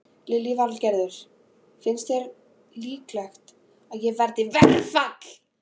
Lillý Valgerður: Finnst þér líklegt að það verði verkfall?